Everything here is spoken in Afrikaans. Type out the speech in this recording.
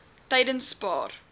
tydenspaar